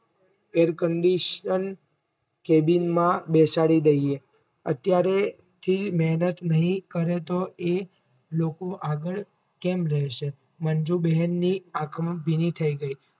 air conditione કેબિનમાં બેસાડી દઈએ અત્યારે થી મેહનત નહિ કરે તો એ લોકો આગળ કેમ લેશે મંજુ બહેનની આંખ ભીની થઈ ગઈ.